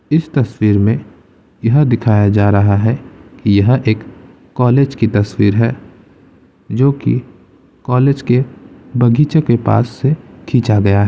इस तस्वीर में यह दिखाया जा रहा है कि यह एक कॉलेज की तस्वीर है जो कि कॉलेज के बगीचे के पास से खींचा गया है।